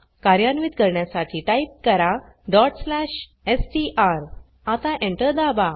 कार्यान्वीत करण्यासाठी टाइप करा str आता Enter दाबा